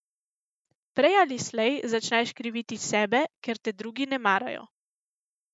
Prej ali slej začneš kriviti sebe, ker te drugi ne marajo.